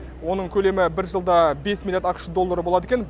оның көлемі бір жылда бес миллиард ақш доллары болады екен